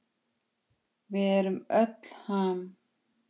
Við erum öll Ham!